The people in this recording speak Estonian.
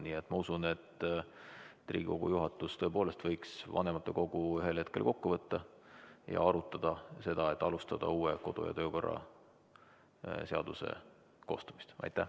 Nii et ma usun, et Riigikogu juhatus tõepoolest võiks vanematekogu ühel hetkel kokku kutsuda ja arutada seda, et alustada uue kodu- ja töökorra seaduse koostamist.